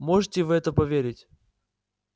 можете в это поверить